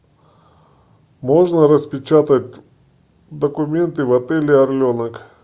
можно распечатать документы в отеле орленок